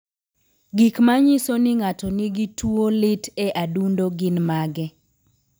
Gik manyiso ni ng'ato nigi tuwo lit e adundo gin mage?